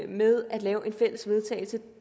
med at lave et fælles vedtagelse